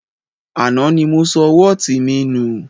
Àná ni mo sọ wọ́ọ̀tì mi nù